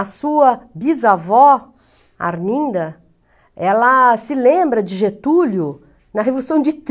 A sua bisavó, Arminda, ela se lembra de Getúlio na Revolução de